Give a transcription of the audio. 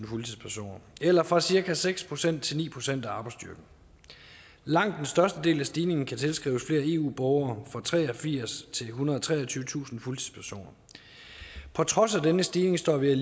fuldtidspersoner eller fra cirka seks procent til ni procent af arbejdsstyrken langt den største del af stigningen kan tilskrives eu borgere fra treogfirstusind til ethundrede og treogtyvetusind fuldtidspersoner trods denne stigning står vi